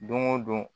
Don o don